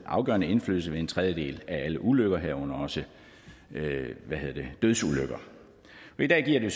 afgørende indflydelse ved en tredjedel af alle ulykker herunder også dødsulykker i dag giver